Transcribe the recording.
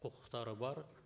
құқықтары бар